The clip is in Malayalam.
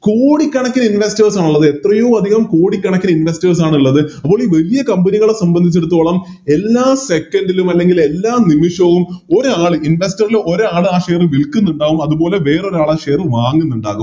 കോടിക്കണക്കിന് Investors ആണുള്ളത് എത്രയോ അതികം കോടിക്കണക്കിന് Investors ആണിള്ളത് അപ്പൊ ഒരു വലിയ Company കളെ സംബന്ധിച്ചെടുത്തോളം എല്ലാ Second ലും അല്ലെങ്കിൽ എല്ലാ നിമിഷവും ഒരാള് ആ Investor ഒരാള് ആ Share വിൽക്കുന്നുണ്ടാവും അതുപോലെ വേറൊരാള് ആ Share വാങ്ങുന്നുണ്ടാകും